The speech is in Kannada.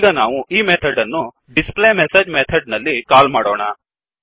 ಈಗ ನಾವು ಈ ಮೆಥಡ್ ಅನ್ನು ಡಿಸ್ ಪ್ಲೇ ಮೆಸೇಜ್ ಮೆಥಡ್ ನಲ್ಲಿ ಕಾಲ್ ಮಾಡೋಣ